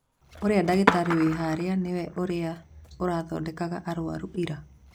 Ũrĩa dagĩtarĩ wĩ harĩa nĩ ũrĩa ũrathondekaga arwaru ira